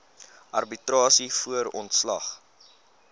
arbitrasie voor ontslag